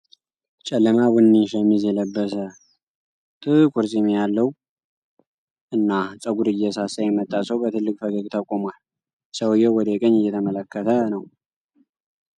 ጨለማ ቡኒ ሸሚዝ የለበሰ፣ ጥቁር ፂም ያለው እና ፀጉሩ እየሳሳ የመጣ ሰው በትልቅ ፈገግታ ቁሟል። ሰውየው ወደ ቀኝ እየተመለከተ ነው።